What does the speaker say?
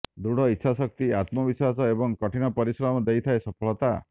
ଦୃଢ ଇଚ୍ଛା ଶକ୍ତି ଆତ୍ମବିଶ୍ୱାସ ଏବଂ କଠିନ ପରିଶ୍ରମ ଦେଇଥାଏ ସଫଳତା